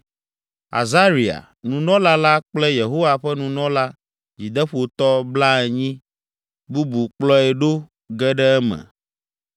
Azaria, nunɔla la kple Yehowa ƒe nunɔla dzideƒotɔ blaenyi, bubu kplɔe ɖo ge ɖe eme.